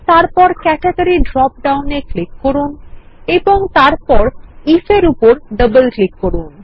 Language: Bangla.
তারপর ক্যাটেগরি ড্রপডাউন এক্লিক করুন এবং তারপর if এরউপর ডবল ক্লিক করুন